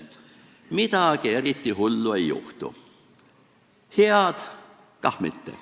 Midagi eriti hullu ei juhtu, head kah mitte.